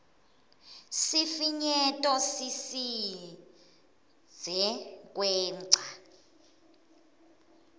sifinyeto sisidze kwengca